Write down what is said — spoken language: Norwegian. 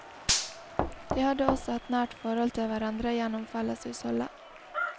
De hadde også et nært forhold til hverandre gjennom felleshusholdet.